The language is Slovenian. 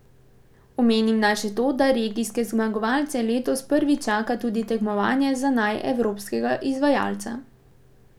Omenim naj še to, da regijske zmagovalce letos prvič čaka tudi tekmovanje za naj evropskega izvajalca.